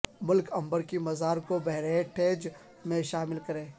ملک عنبر کی مزار کو ہیریٹیج میں شامل کریں